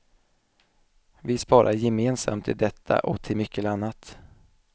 Vi sparar gemensamt till detta och till mycket annat.